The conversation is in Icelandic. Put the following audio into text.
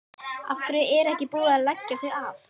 Af hverju er ekki búið að leggja þau af?